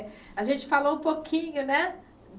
A gente falou um pouquinho, né?